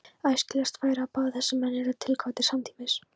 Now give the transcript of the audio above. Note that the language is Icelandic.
Æskilegast væri, að báðir þessir menn yrðu tilkvaddir samtímis.